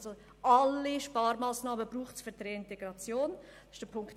Also: Alle Sparmassnahmen werden für die Reintegration benötigt.